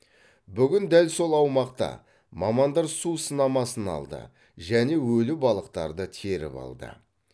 бүгін дәл сол аумақта мамандар су сынамасын алды және өлі балықтарды теріп алды